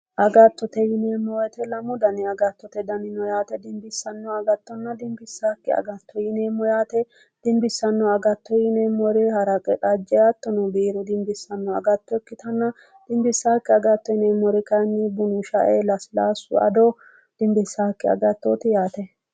Agattote yineemmo woyte lamu daniti agattote dani no yaate insano dimbissannonna dimbissannokki agatto no yaate dimbissanno agatto yineemmori haraqe aga hattono biiru agatto ikkitanna dimbissannokki agatto yineemmori kayinni shae lasilaassu ado dimbissaakki agattooti yaate